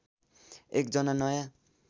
एक जना नयाँ